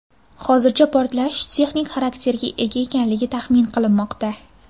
Hozircha portlash texnik xarakterga ega ekanligi taxmin qilinmoqda.